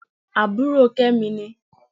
Àbúrò Kẹ́mi ni